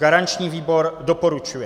Garanční výbor doporučuje.